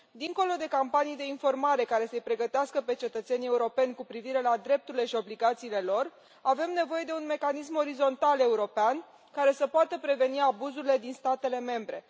Dincolo de campanii de informare care să i pregătească pe cetățenii europeni cu privire la drepturile și obligațiile lor, avem nevoie de un mecanism orizontal european care să poată preveni abuzurile din statele membre.